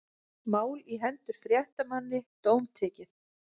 Mál á hendur fréttamanni dómtekið